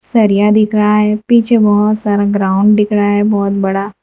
सरिया दिख रहा है पीछे बहुत सारा ग्राउंड दिख रहा है बहुत बड़ा।